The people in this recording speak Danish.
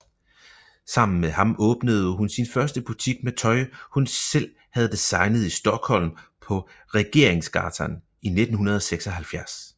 Sammen med ham åbnede hun sin første butik med tøj hun selv havde designet i Stockholm på Regeringsgatan i 1976